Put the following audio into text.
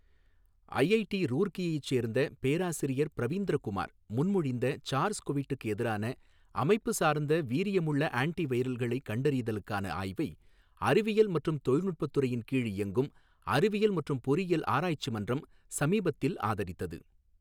IIT ரூர்க்கியைச் சேர்ந்த பேராசிரியர் பிரவீந்திர குமார் முன்மொழிந்த சார்ஸ் கொவிட்டுக்கு எதிரான அமைப்பு சார்ந்த வீரியமுள்ள ஆன்டிவைரல்களைக் கண்டறிதலுக்கான ஆய்வை, அறிவியல் மற்றும் தொழில்நுட்பத் துறையின் கீழ் இயங்கும் அறிவியல் மற்றும் பொறியியல் ஆராய்ச்சி மன்றம் சமீபத்தில் ஆதரித்தது.